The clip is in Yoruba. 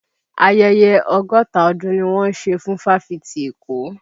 Ayẹyẹ ọgọ́ta ọdún ni wọ́n ń ṣe fún fáfitì èkó